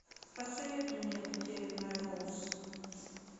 посоветуй мне потерянная роуз